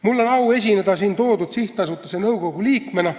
Mul on au siin esineda selle sihtasutuse nõukogu liikmena.